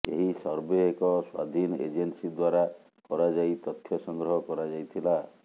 ଏହି ସର୍ଭେ ଏକ ସ୍ୱାଧୀନ ଏଜେନସି ଦ୍ୱାରା କରାଯାଇ ତଥ୍ୟ ସଂଗ୍ରହ କରାଯାଇଥିଲା